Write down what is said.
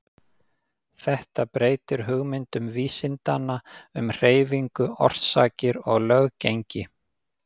Þetta breytir hugmyndum vísindanna um hreyfingu, orsakir og löggengi.